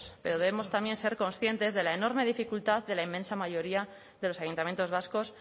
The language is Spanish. pero debemos también ser conscientes de la enorme dificultad de la inmensa mayoría de los ayuntamientos vascos